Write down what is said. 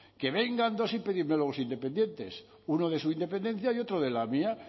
que vengan dos epidemiólogos independientes uno de su independencia y otro de la mía